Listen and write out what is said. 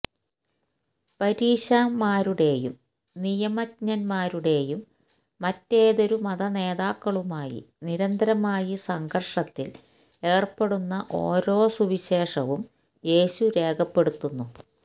പരീശന്മാരുടേയും നിയമജ്ഞന്മാരുടേയും മറ്റേതൊരു മതനേതാക്കളുമായി നിരന്തരമായി സംഘർഷത്തിൽ ഏർപ്പെടുന്ന ഓരോ സുവിശേഷവും യേശു രേഖപ്പെടുത്തുന്നു